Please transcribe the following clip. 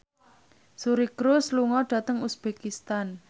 Suri Cruise lunga dhateng uzbekistan